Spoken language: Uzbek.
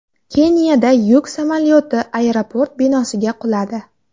Keniyada yuk samolyoti aeroport binosiga quladi.